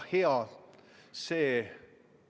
Juhtivkomisjoni seisukoht on jätta arvestamata.